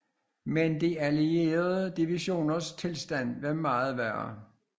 Men de allierede divisioners tilstand var meget værre